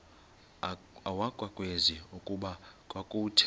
akwazeki okokuba kwakuthe